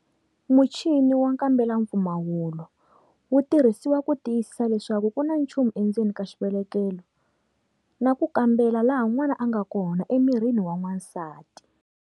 Muchini wa nkambelampfumawulo wu tirhisiwa ku tiyisisa leswaku ku na nchumu endzeni ka xivelekelo ku na nchumu na ku kambela laha n'wana a nga kona emirini wa wansati,.